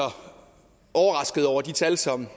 overrasket over de tal som